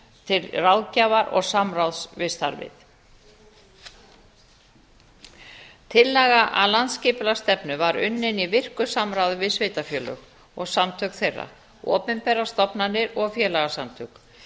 til ráðgjafar og samráðs við starfið tillaga að landsskipulagsstefnu var unnin í virku samráði við sveitarfélög og samtök þeirra opinberar stofnanir og félagasamtök